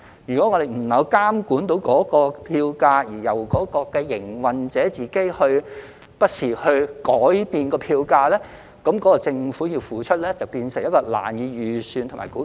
如果我們不能夠監管票價，並由營運者不時自行改變票價，那麼政府所要付出的便會變成難以預算和估計。